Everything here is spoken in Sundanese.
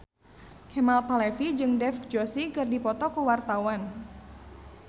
Kemal Palevi jeung Dev Joshi keur dipoto ku wartawan